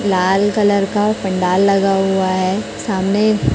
लाल colour का पंडाल लगा हुआ है सामने--